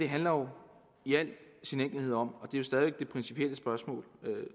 handler jo i al sin enkelhed om og det er jo stadig væk det principielle spørgsmål